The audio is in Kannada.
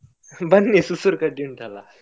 ಬನ್ನಿ ರ್ಸುರ್ ರ್ಸುರ್ ಕಡ್ಡಿ ಉಂಟಲ್ಲ.